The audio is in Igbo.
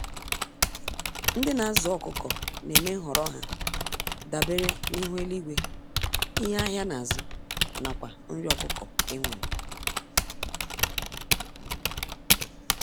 Ndị nazụ ọkụkọ némè' nhọrọ ha dabere n'ihu eluigwe, ihe ahịa nazụ, nakwa nri ọkụkọ enwere.